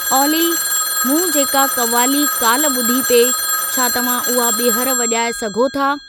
ऑली मूं जेका क़वाली काल्ह ॿुधी पिए छा तव्हां उहा ॿीहर वॼाए सघो था?